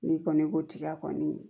N'i kɔni tiga kɔni